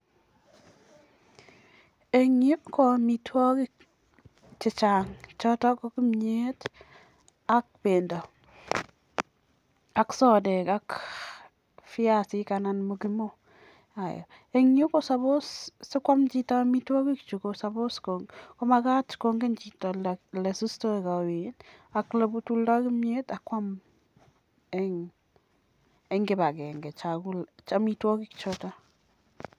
eng yuu ko amitwagiik chechang chotok koo soteek ,piasiik ak chekileee mokimoooanyinyeen amitwagii chuuu nepa kwanggut